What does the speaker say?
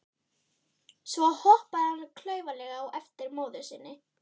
Svo hoppaði hann klaufalega á eftir móður sinni.